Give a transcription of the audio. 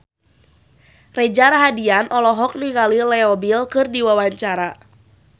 Reza Rahardian olohok ningali Leo Bill keur diwawancara